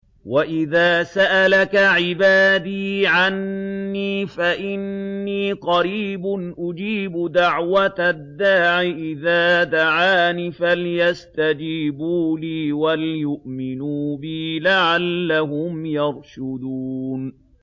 وَإِذَا سَأَلَكَ عِبَادِي عَنِّي فَإِنِّي قَرِيبٌ ۖ أُجِيبُ دَعْوَةَ الدَّاعِ إِذَا دَعَانِ ۖ فَلْيَسْتَجِيبُوا لِي وَلْيُؤْمِنُوا بِي لَعَلَّهُمْ يَرْشُدُونَ